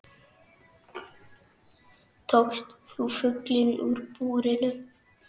Tókst þú fuglinn úr búrinu?